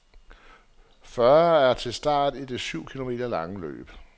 Fyrre er til start i det syv kilometer lange løb.